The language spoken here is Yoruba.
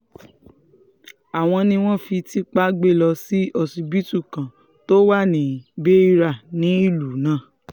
àwọn ni wọ́n fi tipa gbé e lọ sí ọsibítù kan tó wà ní beira ní ìlú náà